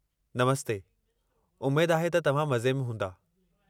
नमस्ते, उमेद आहे त तव्हां मज़े में हूंदा।